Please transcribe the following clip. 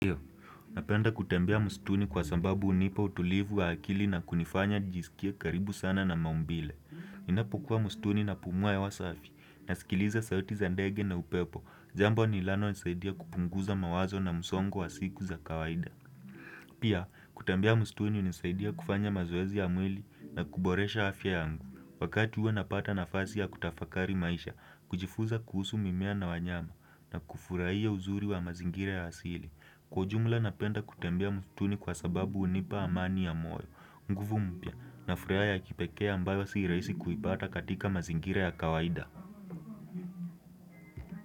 Ndio, napenda kutembea msituni kwa sababu hunipa utulivu wa akili na kunifanya nijisikie karibu sana na maumbile. Ninapokuwa msituni na pumua hewa safi, nasikiliza sauti za ndege na upepo, jambo linalo nisaidia kupunguza mawazo na msongo wa siku za kawaida. Pia, kutembea mstuni unisaidia kufanya mazoezi ya mwili na kuboresha afya yangu. Wakati huo napata nafasi ya kutafakari maisha, kujifuza kuhusu mimea na wanyama, na kufurahia uzuri wa mazingira ya asili. Kwa ujumla napenda kutembea mstuni kwa sababu unipa amani ya moyo, nguvu mpya, na furaha ya kipekee ambayo si rahisi kuipata katika mazingira ya kawaida.